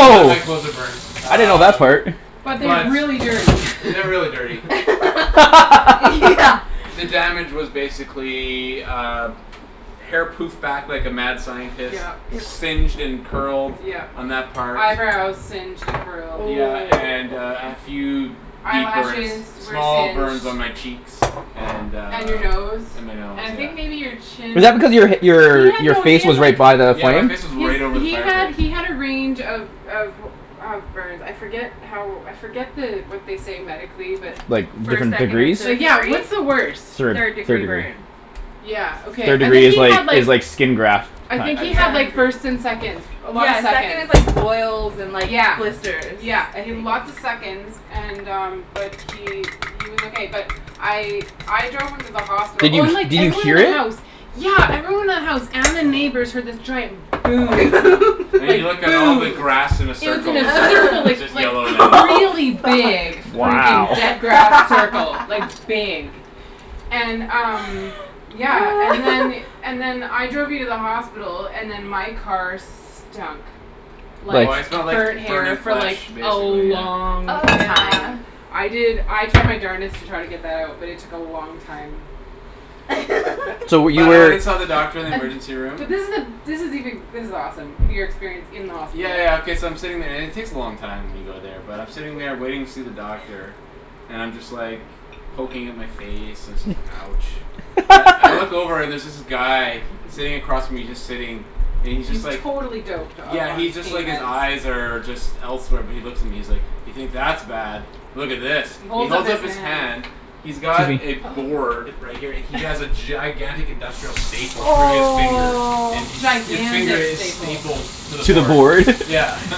None of my clothes are burned. I didn't know that Um part. But but they're they're really dirty. really dirty. Yeah. The damage was basically, uh, hair poofed back like a mad scientist, Yep. Yep. singed and curled Yep. on that part. Eyebrows singed and curled. Yeah and uh and a few deep burns, Eyelashes were small singed. burns on my cheeks. And uh And your nose. And my nose And I yeah. think maybe your Is chin. that because your He your had your no he face had was like, right by the Yeah my flame? face was he's right over the he fire had pit. he had a range of of of burns, I forget how, I forget the what they say medically but Like First, different second or degrees? third yeah, degree? what's the worst? Third. Third Third degree degree. burn. Yeah okay, Third I degree think is he had like, is like skin graft I I think had he Yeah. had second like degree. first and seconds, a lot of Yeah second is seconds. like boils and like Yeah, blisters. yeah I he had think. lots of seconds and um but he he was okay but I I drove him to the hospital, Did oh you and like did you everyone in hear the house, it? yeah everyone in the house and the neighbors heard this giant boom. And Like you look at all boom! the And grass in a it was in circle, it's a just circle, it's like just like yellow now. Oh really fuck. big Wow. freaking dead grass circle, like big. And um yeah, and then and then I drove you to the hospital, and then my car stunk Oh like I smelled like burnt burning hair for flash like a basically yeah. long Oh yeah. time. I did I tried my darnedest to try to get that out but it took a long time. So were you But I went and saw the doctor in the And, emergency room. but this is the this is even, this is awesome, your experience in the hospital. Yeah yeah okay so I'm sitting there and it takes a long time when you go there but I'm sitting there waiting to see the doctor and I'm just like, poking at my face and so it's like ouch. But I look over and there's this guy, sitting across from me, and he's just sitting, and he's just He's like totally doped up Yeah on he's just like, pain his meds. eyes are just elsewhere but he looks at me and he's like, "You think that's bad, look at this." He He holds up holds his up his hand. hand, he's got a Susie. board, right here, he has a gigantic industrial staple through his finger Oh. and his finger Gigantic is staple. stapled to the To the board. board? Yeah.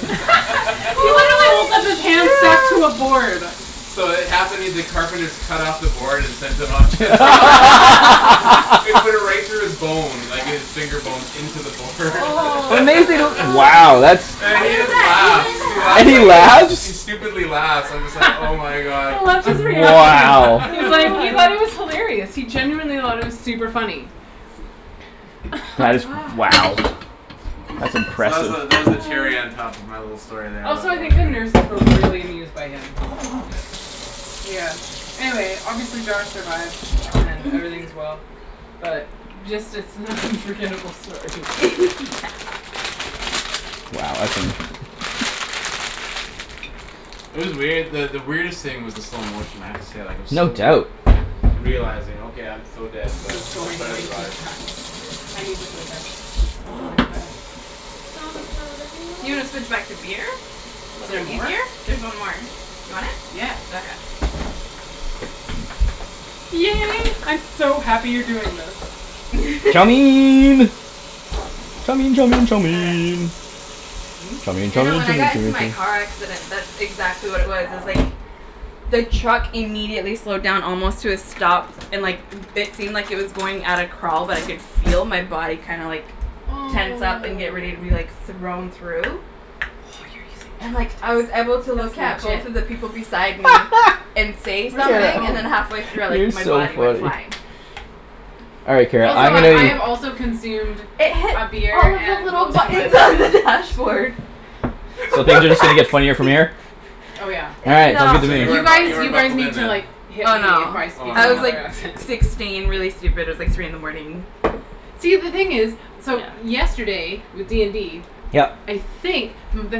He literally holds up his Holy hand stacked to a shoot. board. So it the carpenters cut off the board and sent him to the hos- They put it right through his bone, like his finger bones, in to the board How Wow that's, And he does just laughs. He that and laughs he like, even happen? he laughs? stupidly laughs, and I'm just like oh my god. I loved his reaction. Wow. He's like, he God. thought it was hilarious. He genuinely it was super funny. That is wow. Gosh. That's So that was the, impressive. that was the cherry on top of my little story there Also I think the nurses were really amused by him. Yeah. Yeah. Anyway, obviously Josh survived and everything's well. But just it's an unforgettable story. Yeah. Wow, that's interesting. It was weird that the weirdest thing was the slow motion, I have to say like it was No so weird doubt. realizing okay, I'm so dead This but is let's going try to way too survive. fast. I need to put it down. I'm going too fast. It's gonna slow down. You wanna switch back to beer? Is Is there it more? easier? There's one more. You want it? Yeah. Okay. Yay, I'm so happy you're doing this. Chow! Chow chow chow mein. Chow mein You chow know mein when chow I got in to mein chow my car accident mein that's exactly what it was. It was like, the truck immediately slowed down almost to a stop and like it seemed like it was going at a crawl but I could feel my body kinda like Oh. tense up and get ready to be like, thrown through. Oh you're using And like I was able to look at that's legit. both of the people beside me and say Where's my something and phone? then halfway through I like, You're my so body went funny. flying. All right Do you Kara, know Also where I'm did it I go? have gonna also consumed It hit a beer all of the and little most of my buttons on bourbon. the dashboard. So From the things are just gonna get funnier from backseat. here? Oh yeah. All right, sounds good So to you You weren't me. bu- guys, you weren't you guys buckled in need to then. like hit Oh me no. if I speak Oh in I no. was like another accent. sixteen really stupid, it was like three in the morning. See the thing is, so yesterday with D and D, Yep. I think the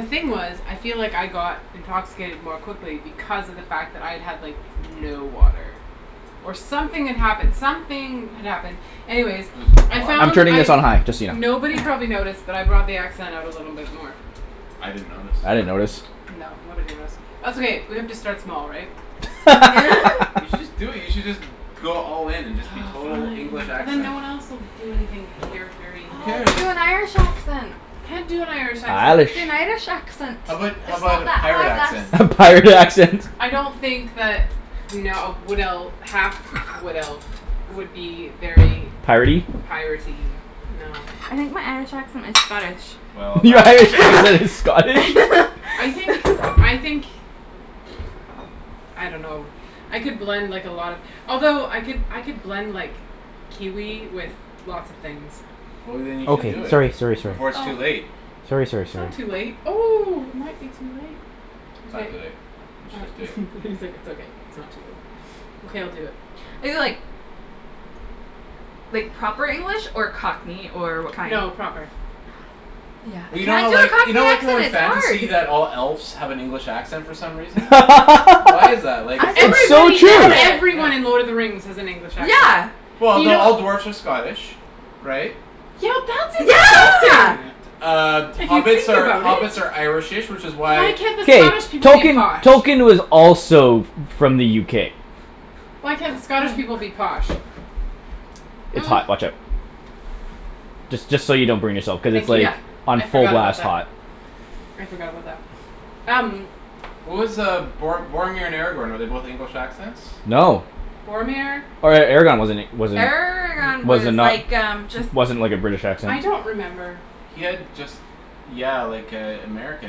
thing was, I feel like I got intoxicated more quickly because of the fact that I had like no water. Or something had happened, something had happened. Anyways, I I'm found turning I this on high, just so you know. nobody probably Okay. noticed but I brought the accent out a little bit more. I didn't notice. I didn't notice. No, nobody noticed. That's okay, we have to start small right? You should just do it, you should just go all in and just be Aw total fine, English but then accent. no one else will do anything charactery. Who Aw, cares? do an Irish accent. I can't do an Irish accent. Do Irish. an Irish accent. How about how It's about not a that pirate hard accent? lass. A pirate accent! I don't think that no a wood elf, a half wood elf would be very Piratey? piratey, no. I think my Irish accent is Scottish. Well, Your that Irish accent is Scottish? I think, I think, I don't know I could blend like a lot of, although I could I could blend like Kiwi with lots of things. Well then you should do Okay, it sorry sorry before it's Oh. too sorry. late. Sorry sorry It's sorry. not too late. Oh, it might be too late. It's not Okay. too late. You should All just do it. right he's like it's okay, it's not too late. Okay I'll do it. Is it like like proper English or Cockney or what kind? No, proper. Yeah. Well you know how Can't do a like, you know Cockney like how accent, in it's fantasy hard! that all elves have an English accent for some reason? Why is that, like is it It's so Everybody in true! Yeah. Yeah. everyone in Lord of the Rings has an English accent. Yeah. Well You no, know all dwarves are Scottish. Right? Yeah that's insulting! Yeah! Uh If you hobbits think are about it. hobbits are irish-ish which is why Why can't the K. Scottish people be Tolkien, posh? Tolkien was also f- from the UK. Why can't the Scottish people be posh? It's hot, watch out. Just just so you don't burn yourself because it's Thank like you. Yeah. on I full forgot about blast that. hot. I forgot about that. Um. What was uh Bor- Boromir and Aragorn, were they both English accents? No. Boromir? Or Aragorn wasn't he wasn't Aragorn was was it like um just not, wasn't like a British accent. I don't remember. He had just yeah like a American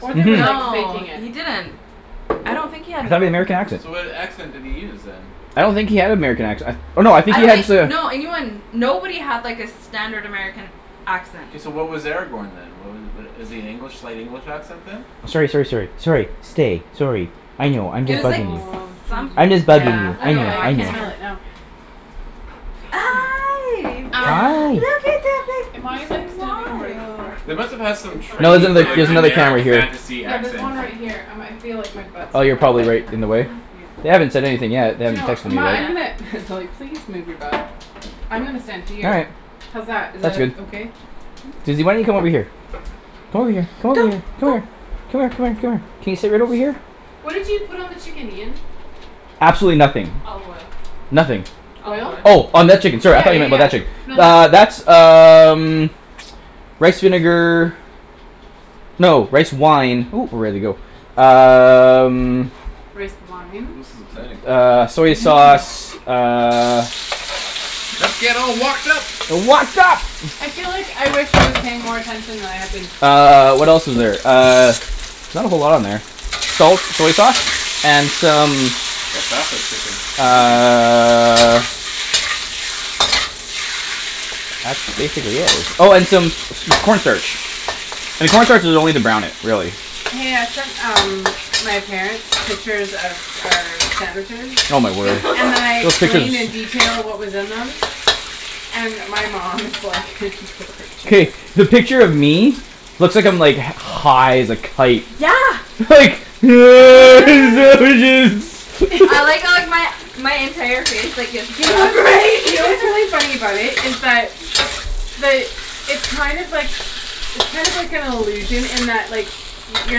Or they were basically. like Mhm. No faking it. he didn't. I don't think he had an American American accent. So what accent did he use then? I don't think he had an American accent, I th- oh no I think I he don't had think, to no anyone nobody had like a standard American accent. So what was Aragorn then wha- was is he an English, slight English accent then? Sorry sorry sorry. Sorry, stay, sorry. I know, I'm It just was like bugging you. Aw someth- I'm Susie. just bugging yeah, you, Oh I I don't know yeah know. I I I can can't smell really it know. now. Hi! Um, look Hi. at am that I like big standing right smile. They directly must've had some in front of No it's training this in the, for like there's camera? another generic camera here. fantasy Yeah there's accent. one right here I might feel like my butt's Oh in you're front of probably it. right in the way? Yeah. They haven't said anything yet, they Do you haven't know what, texted um me my I'm gonna, yet. they're like, please move your butt. I'm gonna stand All here. right. How's that, is that That's good. uh okay? Susie why don't you come over here? Come here, come Go! over here, come Go! here, come here, come here, come here. Can you sit right over here? What did you put on the chicken Ian? Absolutely nothing. Olive oil. Nothing. Olive Oil? oil. Oh on that chicken sorry I Yeah thought you yeah meant yeah. about that chick- No Uh that that's um rice vinegar. No, rice wine, ooh we're ready to go. Um. Rice wine? Uh I soy know. sauce, uh. Let's get all wokd up! Wokd up! I feel like I wish I was paying more attention than I have been. Uh, what else is there, uh, not a whole lot on there. Salt, soy sauce, and some how fast it's cooking uh Oh and some corn starch. And corn starch is only to brown it, really. Hey I sent um my parents pictures of our sandwiches, Oh my word. and then I Those explained in pictures. detail what was in them. And my mom was like K, the picture of me, looks like I'm like high as a kite. Yeah. Like, sandwiches. I like how like my my entire face like gets You cut know off what's funny, right. you know what's really funny about it is that, the it's kind of like, it's kind of like an illusion in that like you're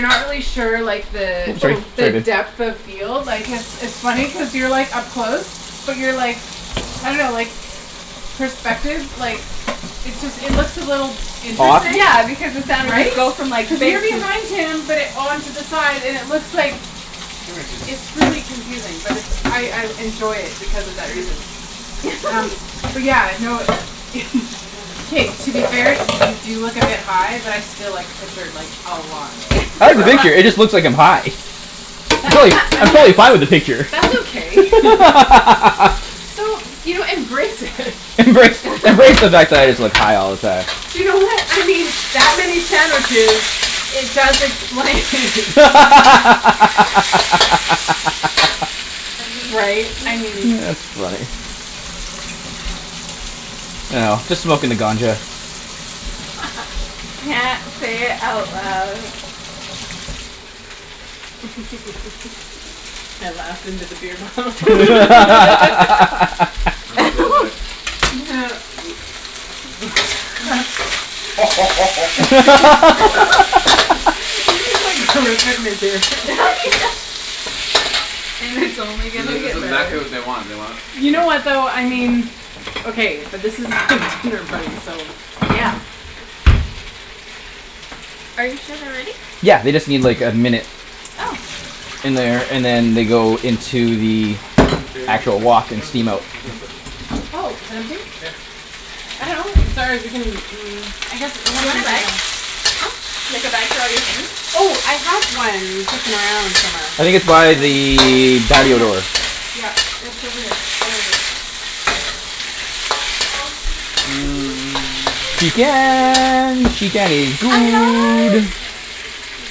not really sure like the Oops sorry the depth of field like cuz it's it's funny cuz you're like up close. But you're like, I don't know like, perspective like, it just it looks a little Off. interesting, Yeah because the sound of right? it Cuz you're behind him but on to the side and it looks like, Come here Susie, it's come here really confusing but it's Come I here I Susie. enjoy it because of Susie that come here. reason. Um, Come here. but yeah, Come lie no, down. Come lie down. k to be Lie fair down. you do look a bit high but I still like the Lie down. picture like a Good lot. girl. It just looks like I'm high. I'm and totally I'm totally fine with the that's, picture. that's okay. So, you know embrace it Embrace, embrace the fact that I just look high all the time. You know what, I mean that many sandwiches, it does explain Right, I mean. it's funny. Yeah. Say it out loud. I laughed in to the beer bottle go ahead. This is like horrific material. Yeah. And it's only This gonna is this get is better. exactly what they want, they want You know what though, I mean, okay but this is a dinner party so. Yeah. Are you sure they're ready? Yeah they just need like a minute. Oh. In there, and then they go into the Kara you wanna put actual this, wok and where's this steam go, out. Oh, is it empty? Yeah. I dunno. Mm, I guess it Do you won't. wanna bag? Huh? Like a bag for all your things? Oh, I have one kicking around somewhere. I think it's by the Oh, patio yes. door. Yeah, it's over here. I'll go get it. Aw Suzy, it's okay, it's okay. Chicken! It's Chicken okay, is shh, it's okay good girl, it's okay.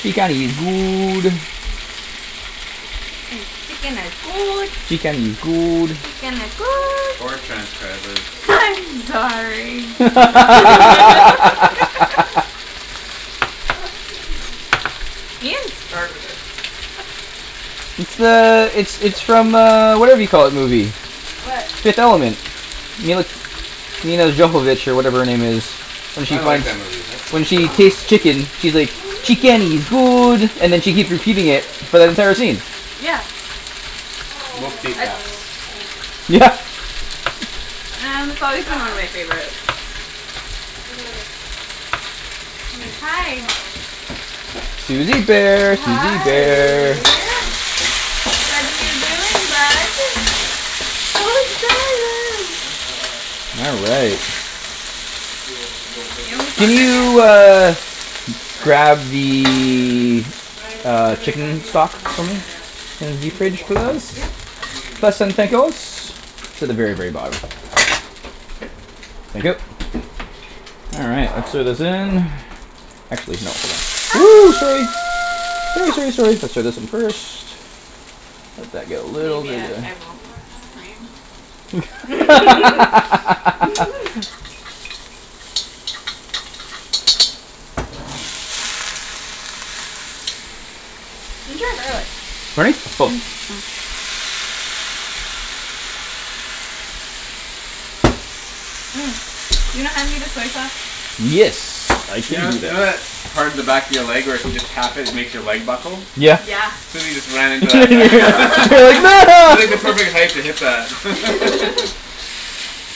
Chicken is Aw, it's good. okay. It's okay, shh. Mm, chicken is good. Chicken is It's good. okay. Chicken is Go lie good. down. Poor transcribers. It's okay. Go lie I'm down. sorry! Go lie down. Go on. It's okay, Suzy. Ian started it. It's the, it's, It's it's from okay. uh, whatever you call it movie. What? Fifth Element. Mila, Mina Johovich or whatever her name is. When she I like finds, that movie. when That's she movie. tastes chicken she's like, Go lie "Chicken down is babe. good" and then she keeps repeating Go it lie for down. the entire scene. Yeah. Multipass. Aw. Yeah! Man, this always been one Josh? of my favorites. Look at this. Come here. Hi. uh-oh. Suzy bear, Suzy Hi! bear. What are you doing, bud? Look at this. So excited. All right. Cool. The little paper Can thing? you uh, grab What a lucky boy. the I, yeah, uh, but it might chicken be my, stock it might for be me my dad's oh from the paper fridge bots. please? Yeah. I think he made it Please and though. thank yous. It's But at the maybe very we'll very see. bottom. Thank you. Awesome All right, let's throw this in. Actually no. Ooh, sorry! Ooh Ah! sorry sorry, let's throw this in first. Let that go Maybe I, I away F won't y i scream. Ginger or garlic? Pardon me? Both. Mm, you don't have any of the soy sauce? Yes, I You keep know, in you know there. that part of the back of your leg where if you just tap it, it makes your leg buckle? Yeah. Yeah. Suzy just ran You're into like that back to hit that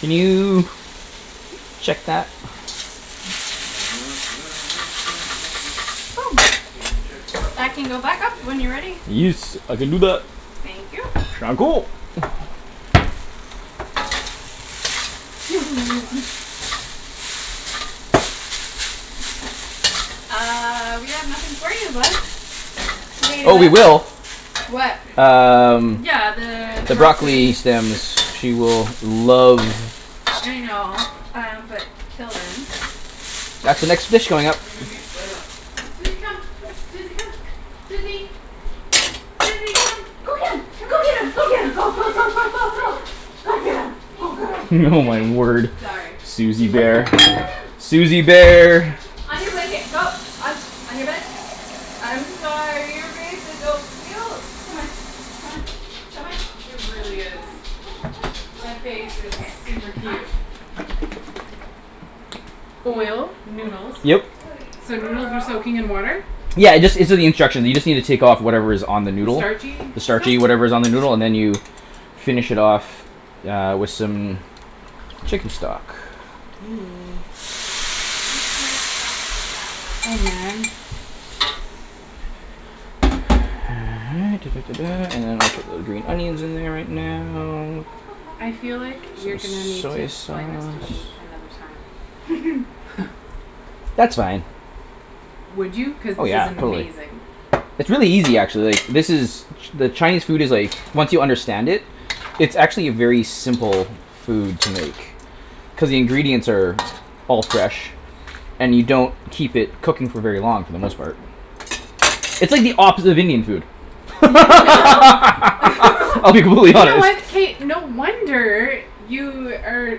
Can you check that? Can you check the That can go back up when you're ready. Yes, I can do that. Thank you. Now that's five. Suzy! Uh, we have nothing for you, bud. Accept You this wanna eat a just Oh in we bug? case will. What? Can't, I'm busy. Um Yeah, Okay. the The broccoli broccoli stems, she will love I know. Um, but till Okay, then that looks okay? That's the next dish going up. Everything okay? Suzy lay down. Suzy come. Suzy come. Suzy! Suzy Go! come. Go get 'em! Come on. Go get 'em! Go get 'em, Come, go come go lie go down. go go Come lie go! down. Go Lie get down. 'em, Hey, go get here. 'em! Oh Come here. my word. Sorry. Suzy Suzy come. bear. Lie down. Suzy bear! On your blanket, go. On, on your bed. I'm sorry, your face is so cute! Come on, come on, come on. It Come on, come on, really come is. on, come on, come on, come on. Right That here, face is right here. super I'm cute. Lay Oil, down. noodles. Yep. Good So noodles were girl! soaking in water? Yeah, it just, it's in the instruction. You just need to take of whatever is on the The noodle. starchy The stuff? starchy whatever is on the noodle, and then you finish it off uh, with some chicken stock. Ooh. You can't bounce with that one. Oh man. All right, ta ta ta ta, and then I'll put the green onions in there right now. I feel like you're Some gonna need to soy explain this to me sauce. another time. That's fine. Would you? Cuz Oh this is yeah, totally. amazing. It's really easy actually. This is, ch- the Chinese food is like, once you understand it, it's actually a very simple food to make. Cuz the ingredients are all fresh and you don't keep it cooking for very long for the most part. It's like the opposite of Indian food. I'll be You brutally know honest. what? K no wonder you are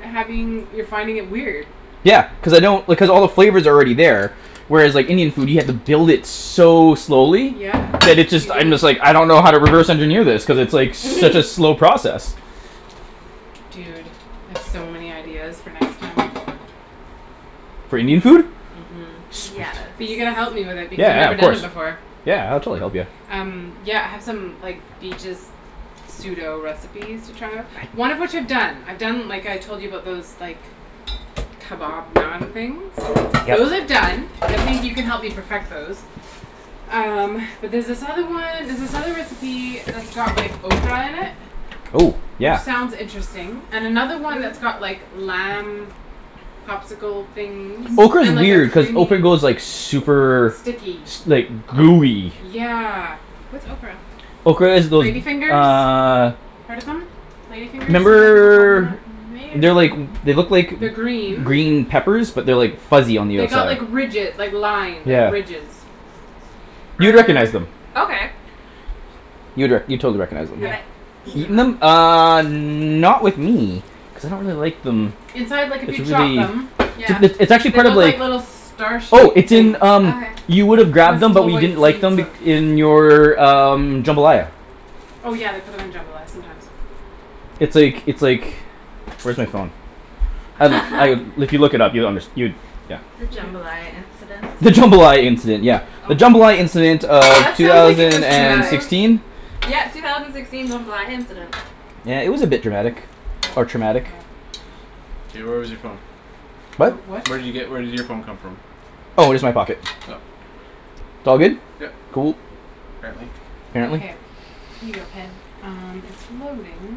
having, you're finding it weird. Yeah. Cuz I don't, because all the flavor's already there. Whereas like Indian food, you have to build it so slowly Yeah, that it you just, I do. just like, I don't know how to reverse engineer this cuz it's such a slow process. Dude, I've so many ideas for next time. For Indian Mhm, food? mhm. Sweet. Yes. But you gotta help me with it because I've Yeah, never of done it course. before. Yeah I'll totally help you. Um yeah, I have some like, the just pseudo recipes to try out. One of which I've done. I've done like I told you about those, like, kebab naan things. Those are Yeah. done. I think you can help me perfect those. Um, but there's this other one, there's this other recipe that's got like ocra in it Oh! Which Yeah. sounds interesting. And another one that's got like lamb popsicle things Ocra is and like a weird, cuz creamy ocra goes like super Sticky S- like gooey. Yeah. What's ocra? Ocra is those, Lady fingers? uh Heard of them? Lady fingers Remember they're like, they like look like They're green. green peppers but they're like fuzzy on the They got outside. like ridge- like line, Yeah. ridges. You'd recognize them. Okay. You'd rec- you'd totally recognize them. Have Yeah. I eaten Eaten them? them? Uh, not with me cuz I don't really like them. Inside, like if you chop them Yeah. It's, it's actually They look like little star Oh, shaped it's things in um Okay. You With would've grabbed them but little you white didn't like seed sort them of i- in your um, jambalaya. Oh yeah, they put 'em in jambalaya sometimes. It's like, it's like, where's my phone? Um like, if you look it up you'll unders- you, yeah The Hmm. jambalaya incident. The jambalaya incident, yeah. The jambalaya incident of That two sounds like it was thousand and traumatic. sixteen? Yeah, two thousand sixteen jambalaya incident. Yeah it was a bit dramatic. Or traumatic. Ocra. Hey where was your phone? What? What? Where did you get, where did your phone come from? Oh, just my pocket. Oh. It's all good? Yeah. Cool. Apparently. Yeah. Okay, here you go Ped. Um, it's loading.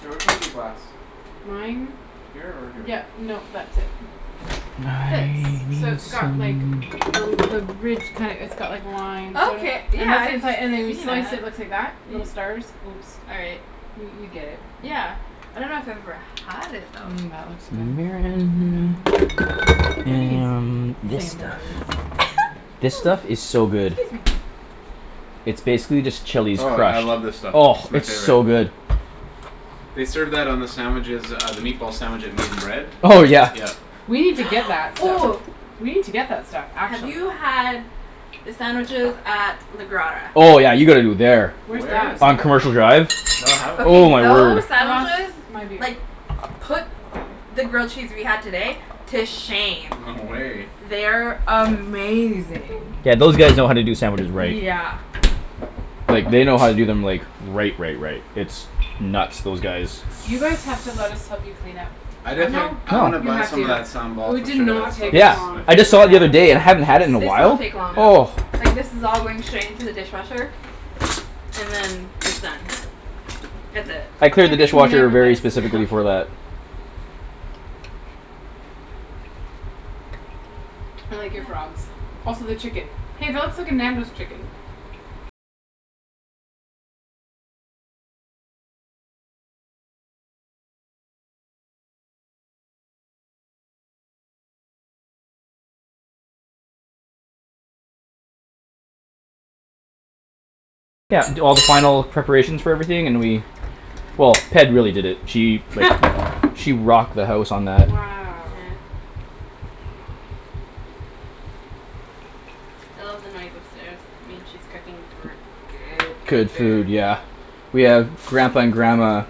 K, which one's your glass? Mine? Here or here? Yeah, no that's it. Now This. I So need it's got some like the l- the ridge kinda, it's got like lines sort of. Okay, And yeah that's the I've seen inside, and when you slice it it it. looks like that. Little stars. Oops. All right. You, you get it. Yeah. I dunno if I've ever had it though. Mmm, that looks good. and this stuff. Ooh, This stuff is so good. excuse me. It's basically just chili Oh, I scratch. love this stuff. Oh, It's my it's favorite. so good. They served that on the sandwiches uh, the meatball sandwich at Meat and Bread. Oh yeah. Yeah. We need to get that stuff. Ooh. We need to get that stuff. Have Actually. you had the sandwiches at the Grotta? Oh yeah, you gotta go there. Where's Where that? is on that? Commercial Drive. Oh Okay my word. those I lost sandwiches my beer. like, put the grill cheese we had today to shame. No way. They're amazing. Yeah those guys know how to do sandwiches right. Yeah. Like, they know how to do them like, right right right. It's nuts. Those guys You guys have to go let us help you clean up. I definitely, No. I wanna You buy have some of to. that sambal We for did sure. That not stuff take is this my Yeah. long I the just saw it the favorite. other day. I hadn't had it in a sandwiches. This while. won't take long. Oh. Yeah. Like this is all going straight into the dishwasher, and then it's done. That's it. I clear Yeah the but you dishwasher never let very us clean up. specifically for that. Wow. Yeah. I left the knife upstairs. I mean she's cooking gr- good, good Good food. food, yeah. We have Grampa and Grandma